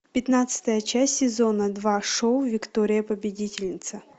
пятнадцатая часть сезона два шоу виктория победительница